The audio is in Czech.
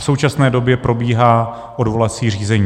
V současné době probíhá odvolací řízení.